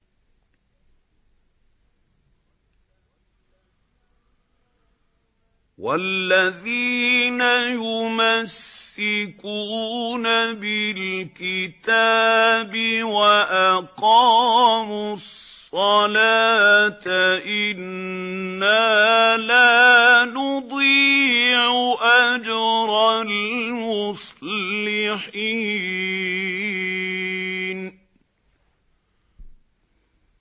وَالَّذِينَ يُمَسِّكُونَ بِالْكِتَابِ وَأَقَامُوا الصَّلَاةَ إِنَّا لَا نُضِيعُ أَجْرَ الْمُصْلِحِينَ